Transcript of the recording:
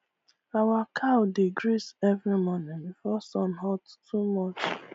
our cow dey graze early morning before sun hot too much